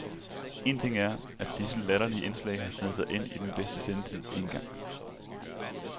Én ting er, at disse latterlige indslag har sneget sig ind i den bedste sendetid én gang.